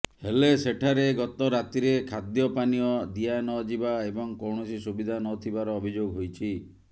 ହେଲେ ସେଠାରେ ଗତ ରାତିରେ ଖାଦ୍ୟ ପାନୀୟ ଦିଆନଯିବା ଏବଂ କୌଣସି ସୁବିଧା ନ ଥିବାର ଅଭିଯୋଗ ହୋଇଛି